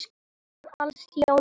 Þar ólst Jón upp.